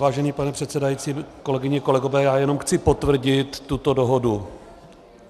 Vážený pane předsedající, kolegyně, kolegové, já jenom chci potvrdit tuto dohodu.